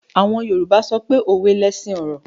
Yorùbá sọpé “ òwe lẹṣin ọ̀rọ̀”.